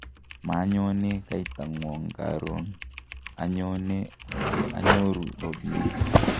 manyone kaitang'wong' karon, anyone ye anyoru robinik